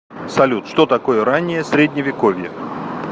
салют что такое раннее средневековье